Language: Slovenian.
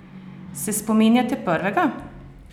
Se spominjate prvega?